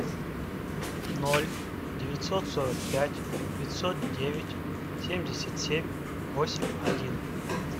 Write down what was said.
ноль девятьсот сорок пять пятьсот девять семьдесят семь восемь один